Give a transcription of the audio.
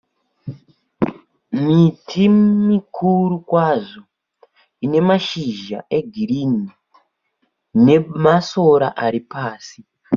Miti mikuru kwazvo ine mashizha e girinhi nemasora ari pasi.